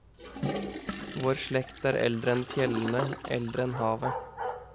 Vår slekt er eldre enn fjellene, eldre enn havet.